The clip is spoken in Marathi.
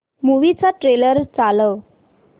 मूवी चा ट्रेलर चालव